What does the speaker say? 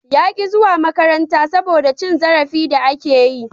Ya ki zuwa makaranta saboda cin zarafi da ake yi.